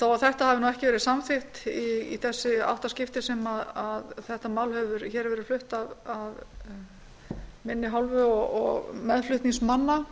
að þetta hafi ekki verið samþykkt í þessi átta skipti sem þetta mál hefur verið flutt af minni hálfu og meðflutningsmanna